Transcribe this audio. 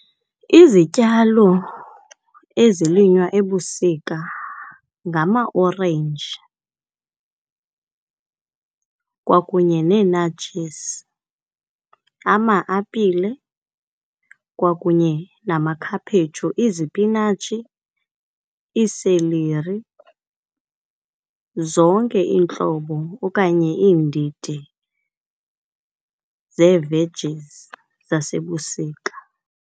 Izityalo ezilinywa ebusika ngamaorenji kwakunye nee-nartjies, ama-apile kwakunye namakhaphetshu. Izipinatshi iiseleri zonke iintlobo okanye iindidi zee-vegies zasebusika.